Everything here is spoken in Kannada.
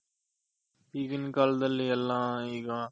ಈಗಿನ್ ಕಾಲ್ದಲ್ಲಿ ಎಲ್ಲ ಈಗ